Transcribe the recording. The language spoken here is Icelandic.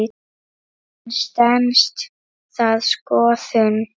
En stenst það skoðun?